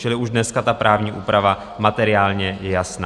Čili už dneska ta právní úprava materiálně je jasná.